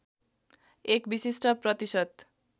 एक विशिष्ट प्रतिशत